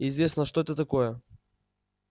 интересно что это такое